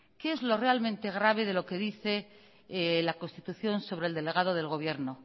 qué es lo realmente grave de lo que dice la constitución sobre el delegado del gobierno